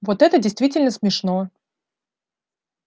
вот это действительно смешно